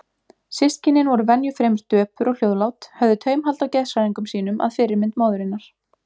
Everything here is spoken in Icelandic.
Systkinin voru venju fremur döpur og hljóðlát, höfðu taumhald á geðshræringum sínum að fyrirmynd móðurinnar.